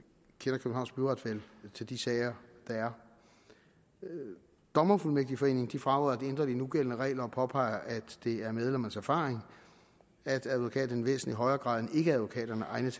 til de sager der er dommerfuldmægtigforeningen fraråder at ændre de nugældende regler og påpeger at det er medlemmernes erfaring at advokater i væsentlig højere grad end ikkeadvokater er egnede